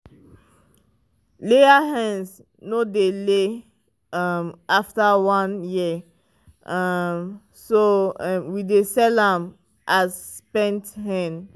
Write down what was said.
layer hens no dey lay um after one year um so um we dey sell am as spent hen.